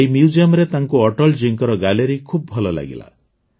ଏହି Museumରେ ତାଙ୍କୁ ଅଟଳ ଜୀଙ୍କର ଗାଲେରୀ ଖୁବ୍ ଭଲ ଲାଗିଲା